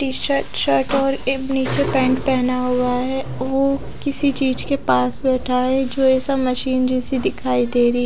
T -shirt shirt और एक निचे पेंट पहना हुआ है ओ किसी चीज के पास बेठा है जो ऐसा मशीन जैसी दिखाई दे रही है।